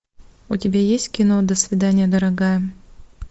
у тебя есть кино до свидания дорогая